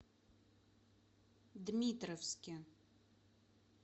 дмитровске